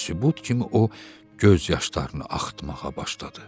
Ə sübut kimi o göz yaşlarını axıtmağa başladı.